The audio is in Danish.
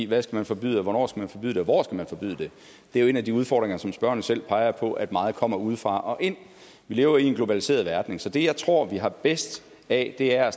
hvad skal man forbyde hvornår skal man forbyde det og hvor skal man forbyde det der er en af de udfordringer som spørgeren jo selv peger på at meget kommer udefra og ind vi lever i en globaliseret verden så det jeg tror vi har bedst af er